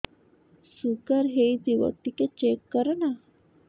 sugar ହେଇଥିବ ଟିକେ check କର ନା